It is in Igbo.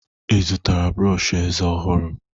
Ị zụtara brọọshị eze ọhụrụ?